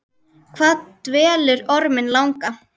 Hvað dvelur orminn langa?